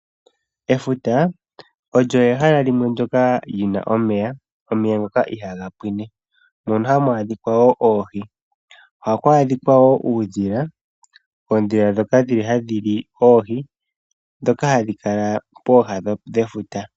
Efuta olyo ehala limwe ndyoka li na omeya, omeya ngoka iha ga pwine mono hamu adhika wo oohi oha ku adhika wo uudhila, oondhila ndhoka dhi li hadhi li oohi ndhoka hadhi kala pooha dhefuta.